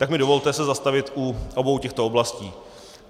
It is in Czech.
Tak mi dovolte se zastavit u obou těchto oblastí.